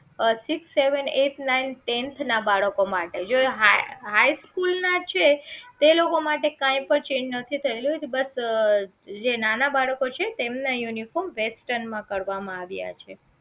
six seven eight nine tenth ના બાળકો માટે જો જો એ high school ના છે તે લોકો માટે કાંઈ પણ change નથી થયેલું એ બસ જે નાના બાળકો છે તેમના uniform western માં કરવામાં આવ્યા છે